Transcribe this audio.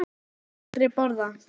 Hvað myndir þú aldrei borða?